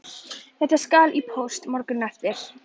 Þetta skal í póst morguninn eftir.